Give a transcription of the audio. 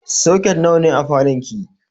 Soket nawa ne a falon ki?